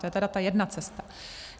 To je tedy ta jedna cesta.